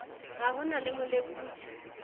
ha ho na le molekodi